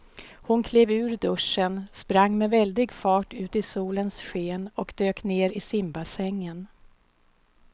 Hon klev ur duschen, sprang med väldig fart ut i solens sken och dök ner i simbassängen.